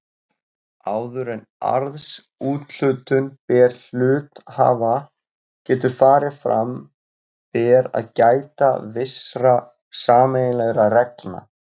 Áður en arðsúthlutun til hluthafa getur farið fram ber að gæta vissra sameiginlegra reglna.